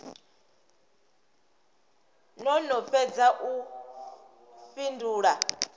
no no fhedza u fhindula